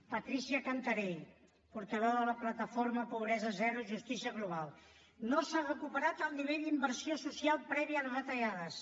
patrícia cantarell portaveu de la plataforma pobresa zero justícia global no s’ha recuperat el nivell d’inversió social previ a les retallades